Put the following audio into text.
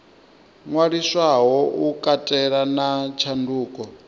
ṅwaliswaho u katela na tshanduko